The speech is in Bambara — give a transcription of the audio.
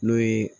N'o ye